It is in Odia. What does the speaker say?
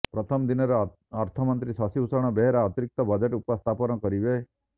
ପ୍ରଥମ ଦିନରେ ଅର୍ଥମନ୍ତ୍ରୀ ଶଶିଭୂଷଣ ବେହେରା ଅତିରିକ୍ତ ବଜେଟ୍ ଉପସ୍ଥାପନ କରିବେ